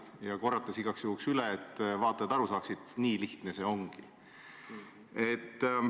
Ja ta kordas igaks juhuks üle, et vaatajad kindlasti aru saaksid: nii lihtne see ongi!